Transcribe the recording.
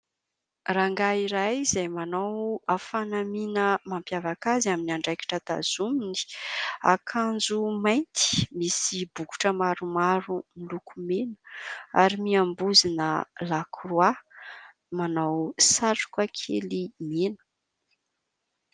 Rangahy iray izay manao fanamiana mampiavaka azy amin'ny andraikitra tazominy : akanjo mainty misy bokotra maro maro miloko mena ary miambozona lakroa manao satroka kely mena.